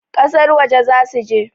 kasar waje za su je